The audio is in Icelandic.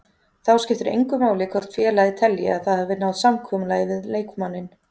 Þá skiptir engu máli hvort félagið telji að það hafi náð samkomulagi við leikmanninn.